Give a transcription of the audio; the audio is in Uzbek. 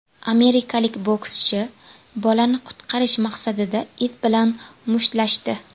Amerikalik bokschi bolani qutqarish maqsadida it bilan mushtlashdi.